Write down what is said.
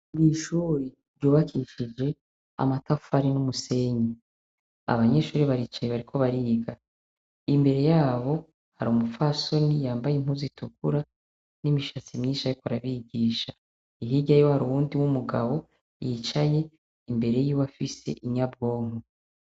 Mw'ishuri ryubakishijwe amatafari n'umusenyi, abanyeshure baricaye bariko bariga. Imbere yabo har'umupfasoni yambaye impuzu itukura n'imishatsi nyinshi ariko arabigisha, hirya yiwe har'uruwundi w'umugabo yicaye imbere yiwe afise inyabwonko.